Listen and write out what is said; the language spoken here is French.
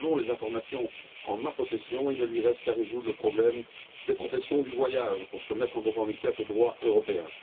Mais selon les informations dont je dispose, il ne lui reste qu'à résoudre le problème des professionnels du voyage pour se mettre en conformité avec le droit européen.